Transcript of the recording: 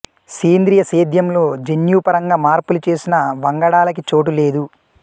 సేంద్రియ సేద్యంలో జన్యు పరంగా మార్పులు చేసిన వంగడాలకి చోటు లేదు